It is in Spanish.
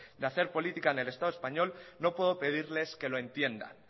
de hacer política en el estado español no puede pedirles que lo entiendan